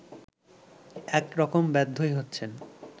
এক রকম বাধ্যই হচ্ছেন